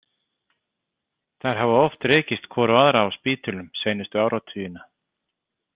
Þær hafa oft rekist hvor á aðra á spítölum seinustu áratugina.